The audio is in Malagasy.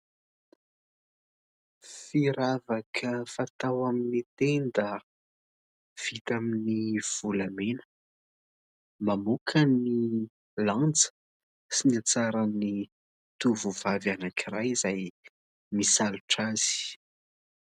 Firavaka fatao amin'ny tenda vita amin'ny volamena. Mamoaka ny lanja sy ny hatsaran'ny tovovavy anankiray izay misalotra azy.